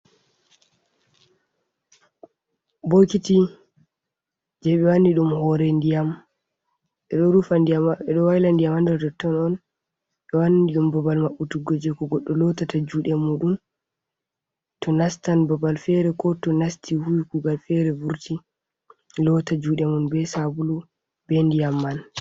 Bokiti je ɓe wani ɗum hore ndiyam ɓe ɗo rufa ndiyam , ɓe ɗo wayla ndiyam ha nder toton on, ɓe wanni ɗum babal maɓɓutu go je to goɗɗo lotata juɗe mu ɗum to nastan babal fere, ko to nasti huwi kugal fere vurti, lotta juɗe mum be sabulu be ndiyam man.